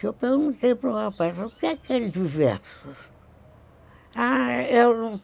Eu perguntei para o rapaz, o que é que é diversos?